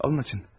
Alın açın.